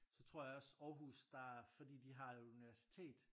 Så tror jeg også Aarhus der fordi de har jo et universitet